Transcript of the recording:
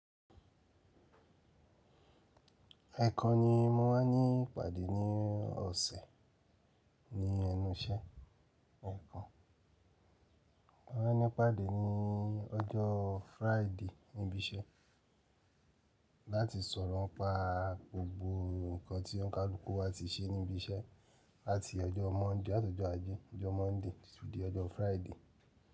Ẹ̀ekan ni mo máa ní ìpàdé ní ọ̀sẹ̀ ní ẹnu iṣẹ́, ẹ̀kan Mo máa ní ìpàdé ní ọjọ́ Friday níbi iṣẹ́ láti sọ̀rọ̀ n pa gbogbo ǹkan tí ọ̀nkàluku wa ti ṣe níbi iṣẹ́ láti ọjọ́ Monday, làtọ̀jọ́ ajé, ọjọ́ Monday títí di ọjọ́ Friday.